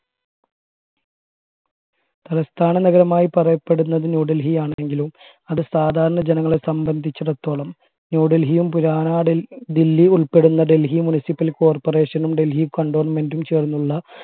തലസ്ഥാനനഗരമായി പറയപ്പെടുന്നത് ന്യൂഡൽഹി ആണെങ്കിലും അത് സാധാരണ ജനങ്ങളെ സംബന്ധിച്ചിടത്തോളം ന്യൂഡൽഹിയും പുരാനാ ഡെൽ ദില്ലി ഉൾപ്പെടുന്ന ഡൽഹി municipal corporation നും ഡൽഹി cantonment ഉം ചേർന്നുള്ള